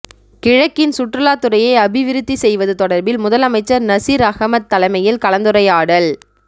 கிழக்கின் சுற்றுலாத்துறையை அபிவிருத்தி செய்வது தொடர்பில் முதலமைச்சர் நசீர் அஹமட் தலைமையில் கலந்துரைாயடல்்